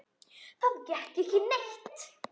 Það gekk ekki neitt.